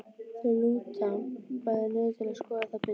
Þau lúta bæði niður til að skoða það betur.